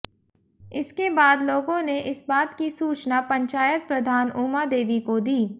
इसके बाद लोगों ने इस बात की सूचना पंचायत प्रधान उमा देवी को दी